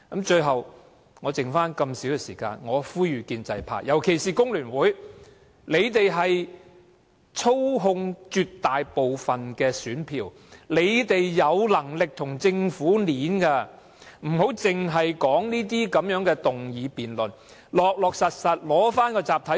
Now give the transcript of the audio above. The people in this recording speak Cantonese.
最後，在餘下那麼少的發言時間中，我呼籲建制派，尤其是香港工會聯合會，你們操控了絕大部分的選票，有能力跟政府議價，不要只在這些議案辯論中討論，要實實在在取回集體談判權......